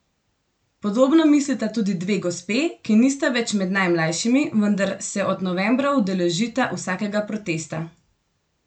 Podobno mislita tudi dve gospe, ki nista več med najmlajšimi, vendar se od novembra udeležita vsakega protesta.